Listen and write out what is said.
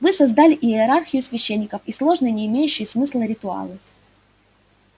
вы создали иерархию священников и сложные не имеющие смысла ритуалы